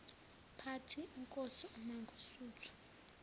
party inkosi umangosuthu